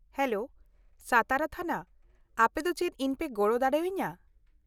-Hello, Satara ᱛᱷᱟᱱᱟ, ᱟᱯᱮ ᱫᱚ ᱪᱮᱫ ᱤᱧ ᱯᱮ ᱜᱚᱲᱚ ᱫᱟᱲᱮᱭᱟᱹᱧᱟ ?